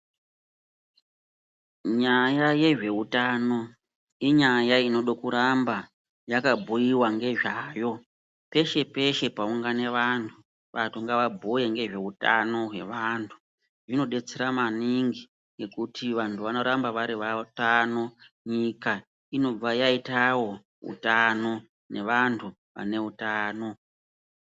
Nyaya yezvehutano inyaya inode kuramba yakabhuiva ngezvayo peshe-peshe paungana vantu. Vantu ngavambuye ngezveutano hwevantu. Zvinobetsera maningi ngekuti vantu vanoramba vari vatano nyika inobva yaitavo hutano nevantu vane hutano.